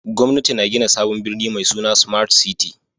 Gwamnati na gina sabon birni mai suna Smart City